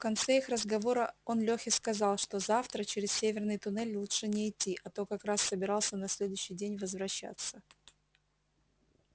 в конце их разговора он лёхе сказал что завтра через северный туннель лучше не идти а тот как раз собирался на следующий день возвращаться